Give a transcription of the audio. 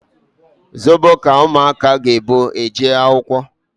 Zobo ka ụmụaka ga ebu eje akwụkwọ